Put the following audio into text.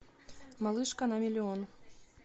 малышка на миллион